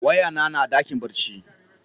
Waya na ya na a dakin barci.